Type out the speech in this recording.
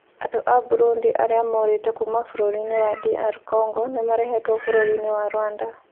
Andũ a Burundi arĩa morĩte kuuma bũrũri-inĩ wa DR Congo nĩ marehetwo bũrũri-inĩ wa Rwanda.